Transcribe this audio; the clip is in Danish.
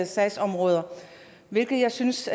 sagsområder hvilket jeg synes